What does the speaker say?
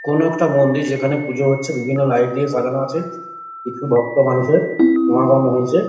কোনো একটা মন্দির যেখানে পুজো হচ্ছে বিভিন্ন লাইট দিয়ে সাজানো আছে কিছু ভক্ত মানুষের সমাগম হয়েছে।